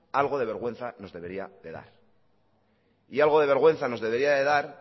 algo de vergüenza nos debería de dar y algo de vergüenza de dar